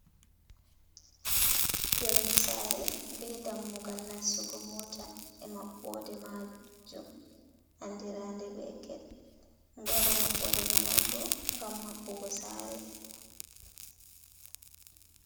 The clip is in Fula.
Yonnde saare bee dammugal nastugo moota e maɓɓoode maajum anndiraande bee get, ɗo waɗa maɓɓode man on bo ngam maɓɓugo saare.